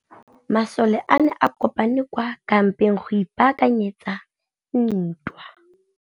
Masole a ne a kopane kwa kampeng go ipaakanyetsa ntwa.